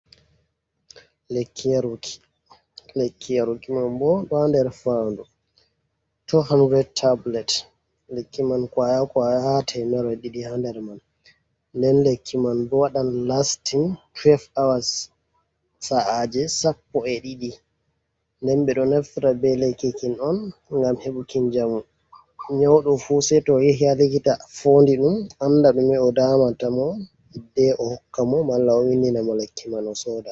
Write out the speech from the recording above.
Lekki yaru ki, lekki yaruki man bo ɗo ha ɗer faɗu tu hondred tabilet lekki man kwaya kwaya ha temerre ɗiɗi ha nder man, nden lekki man bo waɗan lastin fest awas da a je sappo e ɗiɗi nden ɓe ɗo naftira ɓe lekki kin on gam heɓugo jamu nyawɗo fu sai to yahi ha likita fooɗi ɗum anda dume o damanta mo hidde o vindinamo lekki mai o sooda.